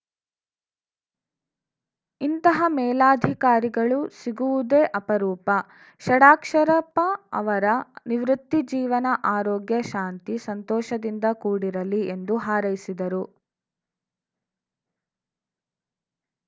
ಇಂತಹ ಮೇಲಾಧಿಕಾರಿಗಳು ಸಿಗುವುದೇ ಅಪರೂಪ ಷಡಕ್ಷರಪ್ಪ ಅವರ ನಿವೃತ್ತಿ ಜೀವನ ಆರೋಗ್ಯ ಶಾಂತಿ ಸಂತೋಷದಿಂದ ಕೂಡಿರಲಿ ಎಂದು ಹಾರೈಸಿದರು